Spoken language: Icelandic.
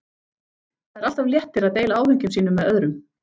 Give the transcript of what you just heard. Það er alltaf léttir að deila áhyggjum sínum með öðrum.